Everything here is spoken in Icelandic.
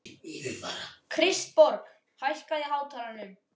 Kristborg, hækkaðu í hátalaranum.